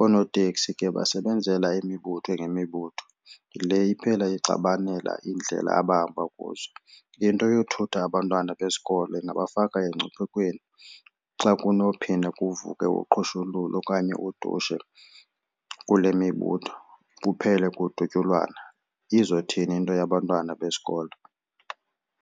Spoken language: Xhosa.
Oonoteksi ke basebenzela imibutho ngemibutho le iphela ixabanela indlela abahamba kuzo. Into yokuthutha abantwana besikolo ingabafaka engcuphekweni xa kunophinda kuvuke uqhushululu okanye udushe kule mibutho kuphele kudutyulwana, izothini into yabantwana besikolo.